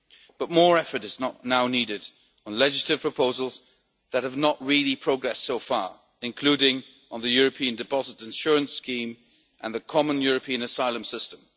But more effort is now needed on legislative proposals that have not really progressed so far, including on the European Deposit Insurance Scheme and the Common European Asylum System.